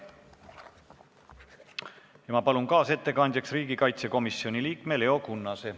Ja ma palun kaasettekandjaks riigikaitsekomisjoni liikme Leo Kunnase.